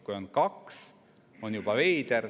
Kui on kaks, on juba veider.